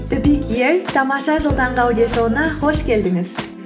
тамаша жыл таңғы аудиошоуына қош келдіңіз